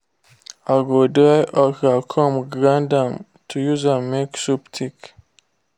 i go dry okra come grind am to use am make soup thick.